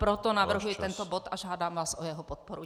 Proto navrhuji tento bod a žádám vás o jeho podporu.